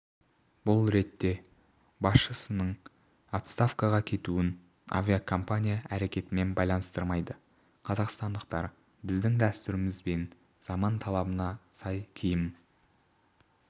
бұл ретте басшысының отставкаға кетуін авиакомпания әрекетімен байланыстырмайды қазақстандықтар біздің дәстүріміз бен заман талабына сай киім